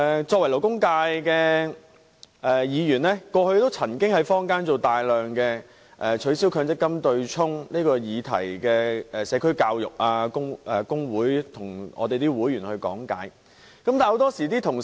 作為勞工界的議員，我曾經在坊間進行大量關於"取消強積金對沖"的社區教育，並向工會的會員講解。